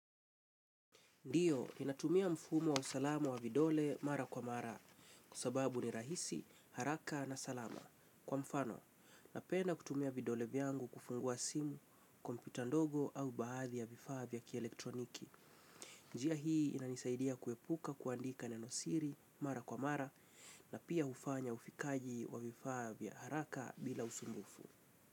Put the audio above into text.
Ndiyo, ninatumia mfumo wa usalama wa vidole mara kwa mara, kwa sababu ni rahisi, haraka na salama. Kwa mfano, napenda kutumia vidole vyangu kufungua simu, kompyuta ndogo au baadhi ya vifaa vya kielektroniki. Njia hii inanisaidia kuepuka kuandika nenosiri mara kwa mara, na pia hufanya ufikaji wa vifaa haraka bila usumbufu.